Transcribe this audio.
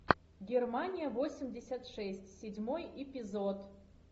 германия восемьдесят шесть седьмой эпизод